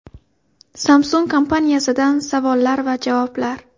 Samsung kompaniyasidan savollar va javoblar.